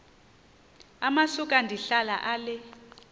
amasuka ndihlala ale